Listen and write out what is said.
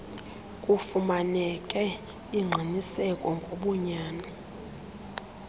kufumaneke ingqiniseko ngobunyani